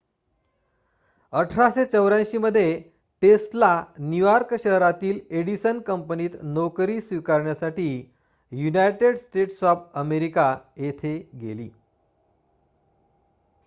1884 मध्ये Tesla New York शहरातील Edison कंपनीत नोकरी स्वीकारण्यासाठी युनायटेड स्टेट्स ऑफ अमेरिका येथे गेली